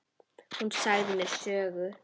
Hún sagði mér sögur.